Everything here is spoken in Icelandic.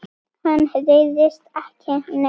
Hann hræðist ekki neitt.